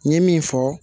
N ye min fɔ